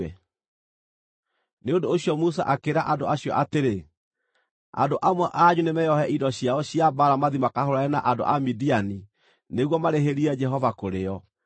Nĩ ũndũ ũcio Musa akĩĩra andũ acio atĩrĩ, “Andũ amwe anyu nĩmeohe indo ciao cia mbaara mathiĩ makahũũrane na andũ a Midiani nĩguo marĩhĩrie Jehova kũrĩ o.